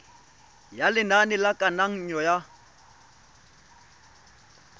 ya lenane la kananyo ya